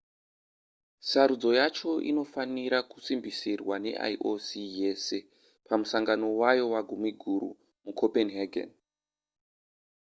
sarudzo yacho inofanira kusimbisirwa neioc yese pamusangano wayo wagumiguru mucopenhagen